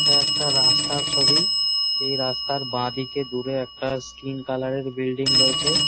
এটা একটা রাস্তার ছবি যেই রাস্তার বাদিকে দূরে একটা স্টিল কালার -এর বিল্ডিং রয়েছে ।